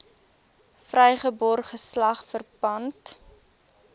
vrygebore geslag verpand